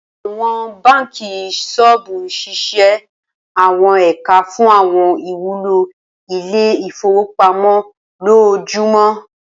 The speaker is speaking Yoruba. Awọn banki soobu ṣiṣẹ awọn ẹka fun awọn iwulo ile-ifowopamọ lojoojumọ.